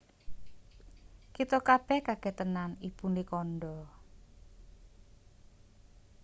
"kita kabeh kaget tenan ibune kandha.